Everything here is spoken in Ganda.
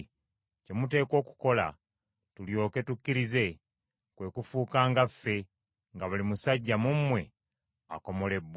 Kye muteekwa okukola, tulyoke tukkirize, kwe kufuuka nga ffe nga buli musajja mu mmwe akomolebbwa.